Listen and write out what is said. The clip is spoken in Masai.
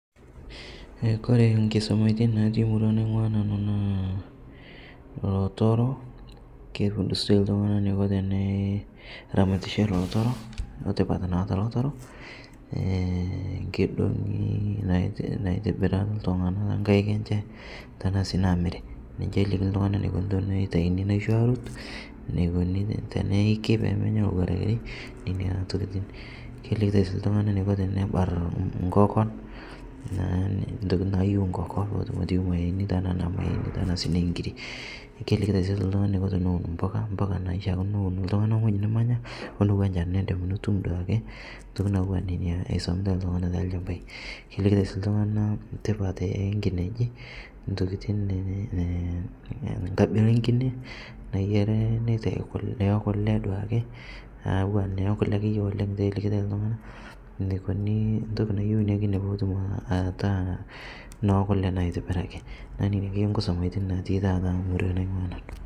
Kore nkisomatin natii murua naing'ua nanuu natii lotoro, keipustoi ltung'ana neiko teneramatishere lotoroo otipat naata lotoro, keidong'i naitibira ltung'anaa tenkaik enshe tanaa sii namirii ninshe elikini ltung'ana neikuni teneitaini naisho arut, neikuni teneikii pemenya lowarakrei nenia tokitin, kelikitai sii ltung'ana neiko tenebar nkokon, ntokitin nayeu nkokon peetum atiyiu mayeeni, tanaa naa mayeeni tanaa sii nenkirii kelikitai sii ltung'ana neiko tenewun mpukaa, mpukaa naishiakino newun ltung'ani ong'oji nimanya onowa nchan nindim atumoo duake ntokitii natuwa nenia eisomitai ltung'ana te lchampai. Kelikitai sii ltung'ana tipat enkineji ntokitin ii nkabila enkine nayarii neitai kulee ee kulee duake aa atua nenia ekulee oleng' elikitai ltung'ana neikonii ntoki nayeu inia kinee pootum ataa nookule naa aitibiraki naaku nenia akeye nkusomaitin natii murua naing'ua nanu.